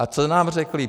A co nám řekli?